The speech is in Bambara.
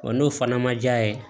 Wa n'o fana ma ja ye